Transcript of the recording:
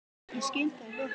Ég skil þau viðhorf vel.